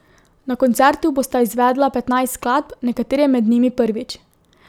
Na koncertu bosta izvedla petnajst skladb, nekatere med njimi prvič.